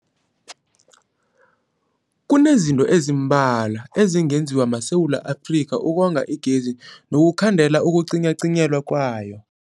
Kunezinto ezimbalwa ezingenziwa maSewula Afrika ukonga igezi nokukhandela ukucinywacinywa kwayo.